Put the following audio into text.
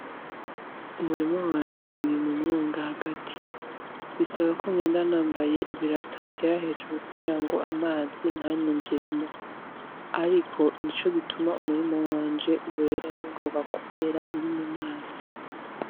Umurima wanje uri mumwonga hagati bisaba ko genda nambaye ibirato bigera hejuru kugira ngo amazi ntanyinjiremwo ariko nico gituma umurima wanje wera ningoga kubera uri mumazi.